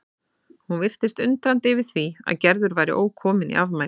Hún virtist undrandi yfir því að Gerður væri ókomin í afmælið.